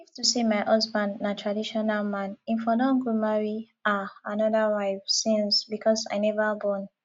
if to say my husband na traditional man im for don go marry um another wife since because i never born